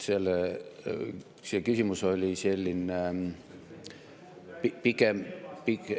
See küsimus oli selline ...